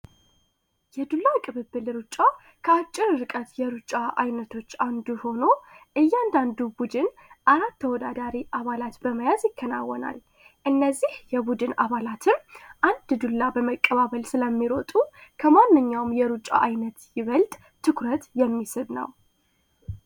የዱላ ቅብብል ሩጫ ከአጭር እርቀት የሩጫ አይነቶች አንዱ ሆኖ እያንዳንዱ ቡድን አራት ተወዳዳሪ አባላት በመያዝ ይከናወናል እነዚህ የቡድን አባላትም አንድ ዱላ በመቀባበል ስለሚሮጡ ከማንኛውም የሩጫ አይነት ይበልድ ትኩረት የሚስብ ነው፡፡